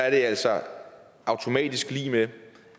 altså automatisk lig med